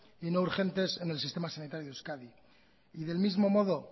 y no urgentes en el sistema sanitario de euskadi y del mismo modo